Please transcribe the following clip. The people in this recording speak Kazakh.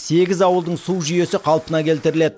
сегіз ауылдың су жүйесі қалпына келтіріледі